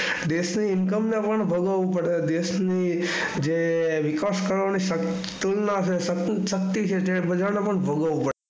દેશ ની ઇનકમ ને પણ ભોગગવું પડે દેશ ની જે વિકાસ કેળવણી ને પણ તુલના જે સંતુશશક્તિ છે બધા ને પણ ભોગવવું પડે.